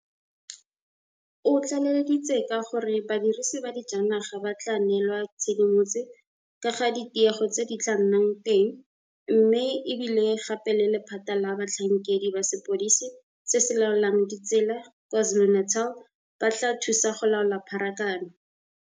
O tlaleleditse ka gore badirisi ba dijanaga ba tla neelwa tshedimotse ka ga ditiego tse di tla nnang teng mme e bile gape le lephata la batlhankedi ba sepodisi se se laolang ditsela kwa KwaZulu-Natal ba tla thusa go laola pharakano.